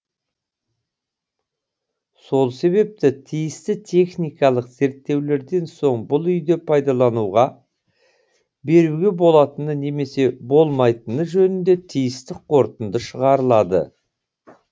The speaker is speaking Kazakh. сол себепті тиісті техникалық зерттеулерден соң бұл үйді пайдалануға беруге болатыны немесе болмайтыны жөнінде тиісті қорытынды шығарылады